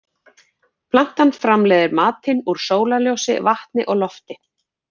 Plantan framleiðir matinn úr sólarljósi, vatni og lofti.